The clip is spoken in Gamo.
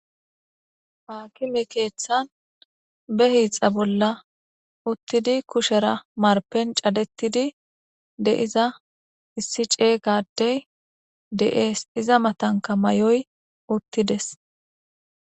Ha akime keeththan be hiixa bolla uttidi kushera marpen cadettidi de iza issi cey gadey de'ees iza matanka may'oy uttides.